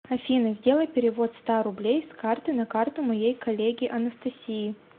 афина сделай перевод ста рублей с карты на карту моей коллеге анастасии